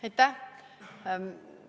Aitäh!